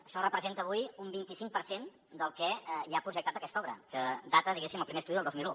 això representa avui un vint i cinc per cent del que hi ha projectat d’aquesta obra que data diguéssim el primer estudi del dos mil un